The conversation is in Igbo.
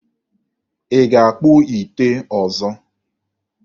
Ị ga-akpụ ite ọzọ?